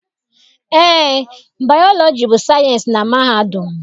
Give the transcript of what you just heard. Eé, Bayọlọji bụ sayịensị na mahadum.